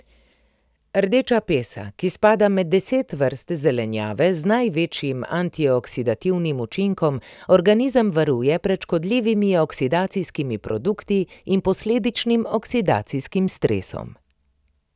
Rdeča pesa, ki spada med deset vrst zelenjave z največjim antioksidativnim učinkom, organizem varuje pred škodljivimi oksidacijskimi produkti in posledičnim oksidacijskim stresom.